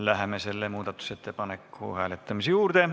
Läheme selle muudatusettepaneku hääletamise juurde.